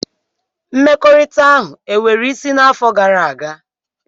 Mmekọrịta ahụ e nwere isí n'afọ gara aga?